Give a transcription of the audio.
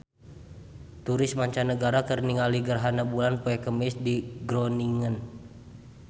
Turis mancanagara keur ningali gerhana bulan poe Kemis di Groningen